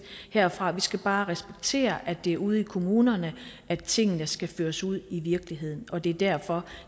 herfra vi skal bare respektere at det er ude i kommunerne at tingene skal føres ud i virkeligheden og det er derfor